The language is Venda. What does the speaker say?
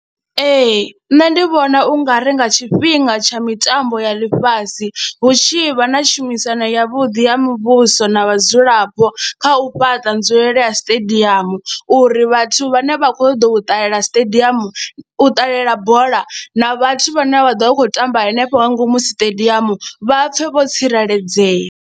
Ee, nṋe ndi vhona u nga ri nga tshifhinga tsha mitambo ya ḽifhasi hu tshi vha na tshumisano yavhuḓi ya muvhuso na vhadzulapo kha u fhaṱa nzulele ya stadium uri vhathu vhane vha khou ṱoḓa u ṱalela stadium, u ṱalela bola na vhathu vhane vha ḓo vha vha khou tamba hanefho nga ngomu stadium vha pfhe vho tsireledzea.